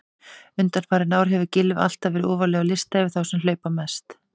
Undanfarin ár hefur Gylfi alltaf verið ofarlega á lista yfir þá sem hlaupa mest.